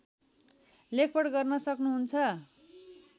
लेखपढ गर्न सक्नुहुन्छ